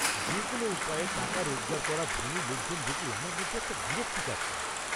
যে কোনও উপায়ে টাকা রোজগার করা ধনী লোকজন দেখলে আমার মধ্যে একটা বিরক্তি কাজ করে।